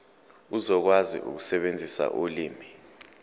uzokwazi ukusebenzisa ulimi